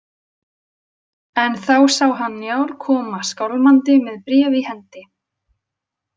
En þá sá hann Njál koma skálmandi með bréf í hendi.